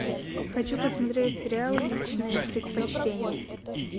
хочу посмотреть сериал личное предпочтение